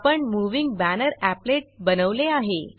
आपण moving banner applet बनवले आहे